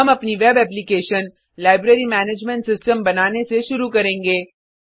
हम अपनी web application library management system बनाने से शुरू करेंगे